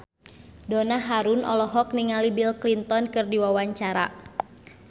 Donna Harun olohok ningali Bill Clinton keur diwawancara